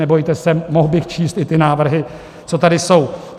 Nebojte se, mohl bych číst i ty návrhy, co tady jsou.